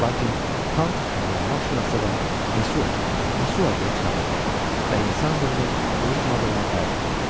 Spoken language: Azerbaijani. Lakin tam əmin olmaq şünadan Mesua, Mesua deyə çağırdı və insan dilini unutmadığına təəccüb etdi.